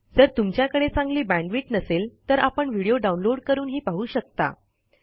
जर तुमच्याकडे चांगली बॅण्डविड्थ नसेल तर आपण व्हिडिओ डाउनलोड करूनही पाहू शकता